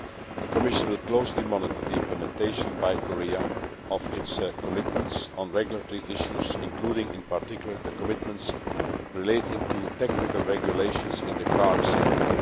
The Commission will closely monitor the implementation by Korea of its commitments on regulatory issues, including in particular the commitments relating to technical regulations in the car sector.